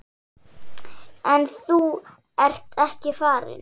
En þú ert ekki farinn.